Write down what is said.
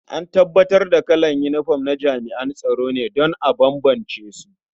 An bambanta kalan yinifom na jami'an tsaro ne don a bambance su.